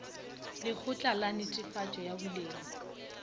lekgotla la netefatšo ya boleng